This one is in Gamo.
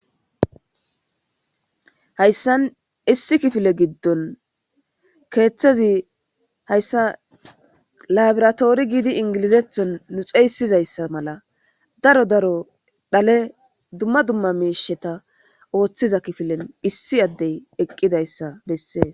hayssan issi kifile giddon keeththezi hayssa labiratoori giidi ingilizethon nu xeeysizayssa mala daro daro dhale dumma dumma meisheta ooththiza kifilen issi addey eqqidayssa bessees